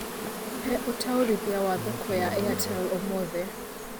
He ũtũarĩthĩa wa thoko ya Airtel ũmũthi